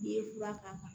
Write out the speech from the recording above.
N'i ye fura k'a kan